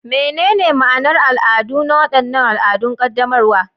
Menene ma'anar al'adu na waɗannan al'adun qaddamarwa?